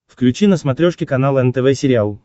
включи на смотрешке канал нтв сериал